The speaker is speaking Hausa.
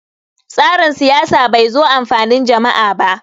tsarin siyasa bai zo amfanin jam`a ba